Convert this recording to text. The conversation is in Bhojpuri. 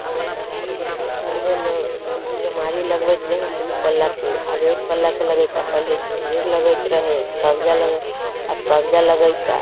इगेट बा पहिले लोग केवाड़ी लग वईत रहे दू पला के अब एक पला के लग ईत पहिले झुनझुर लग ईत रहे कब्ज़ा लग कब्ज़ा लग ईता।